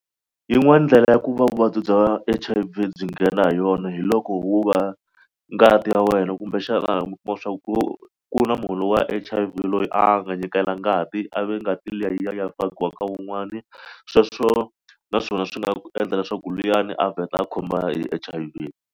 Yin'wani ndlela ya ku va vuvabyi bya H_I_V byi nghena ha yona hi loko wu va ngati ya wena kumbexana mi kuma swa ku ku na munhu wa H_I_V loyi a nga nyikela ngati a ve ngati liya yi ya fakiwa ka wun'wani sweswo naswona swi nga endla leswaku luyani a vheta a khoma H_I_V.